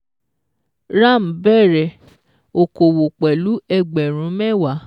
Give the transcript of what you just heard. Ram bẹ̀rẹ̀ okòwò Pẹ̀lú ẹgbẹ̀rún mẹ́wàá